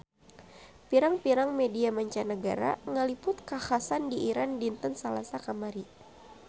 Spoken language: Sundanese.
Pirang-pirang media mancanagara ngaliput kakhasan di Iran dinten Salasa kamari